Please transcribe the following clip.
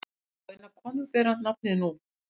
Fáeinar konur bera nafnið nú.